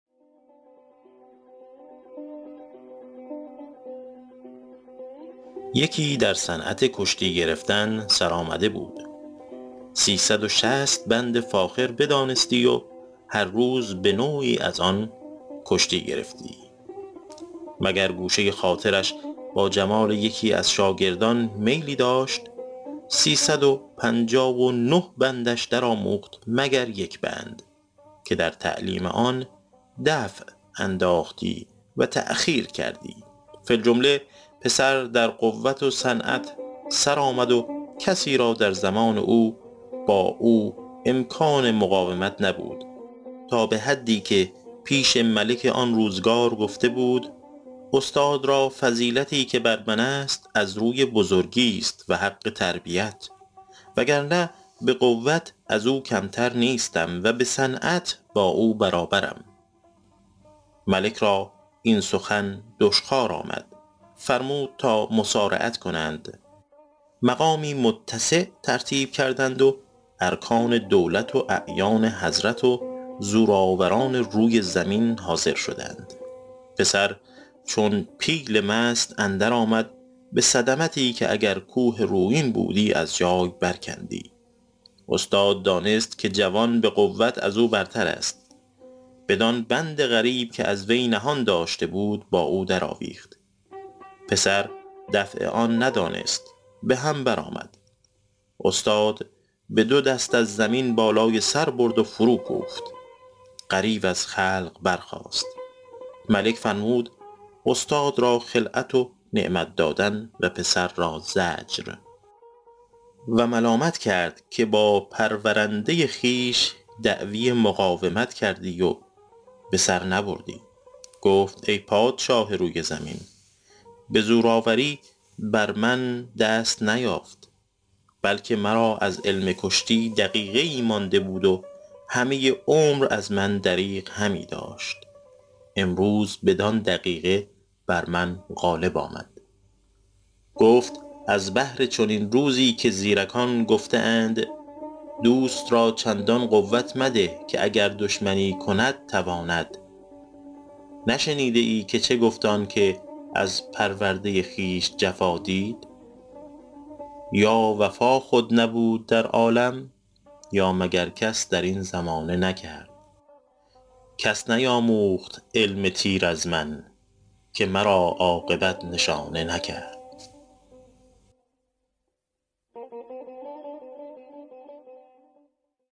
یکی در صنعت کشتی گرفتن سرآمده بود سی صد و شصت بند فاخر بدانستی و هر روز به نوعی از آن کشتی گرفتی مگر گوشه خاطرش با جمال یکی از شاگردان میلی داشت سی صد و پنجاه و نه بندش در آموخت مگر یک بند که در تعلیم آن دفع انداختی و تأخیر کردی فی الجمله پسر در قوت و صنعت سر آمد و کسی را در زمان او با او امکان مقاومت نبود تا به حدی که پیش ملک آن روزگار گفته بود استاد را فضیلتی که بر من است از روی بزرگیست و حق تربیت وگرنه به قوت از او کمتر نیستم و به صنعت با او برابرم ملک را این سخن دشخوار آمد فرمود تا مصارعت کنند مقامی متسع ترتیب کردند و ارکان دولت و اعیان حضرت و زورآوران روی زمین حاضر شدند پسر چون پیل مست اندر آمد به صدمتی که اگر کوه رویین بودی از جای بر کندی استاد دانست که جوان به قوت از او برتر است بدان بند غریب که از وی نهان داشته بود با او در آویخت پسر دفع آن ندانست به هم بر آمد استاد به دو دست از زمینش بالای سر برد و فرو کوفت غریو از خلق برخاست ملک فرمود استاد را خلعت و نعمت دادن و پسر را زجر و ملامت کرد که با پرورنده خویش دعوی مقاومت کردی و به سر نبردی گفت ای پادشاه روی زمین به زورآوری بر من دست نیافت بلکه مرا از علم کشتی دقیقه ای مانده بود و همه عمر از من دریغ همی داشت امروز بدان دقیقه بر من غالب آمد گفت از بهر چنین روزی که زیرکان گفته اند دوست را چندان قوت مده که دشمنی کند تواند نشنیده ای که چه گفت آن که از پرورده خویش جفا دید یا وفا خود نبود در عالم یا مگر کس در این زمانه نکرد کس نیاموخت علم تیر از من که مرا عاقبت نشانه نکرد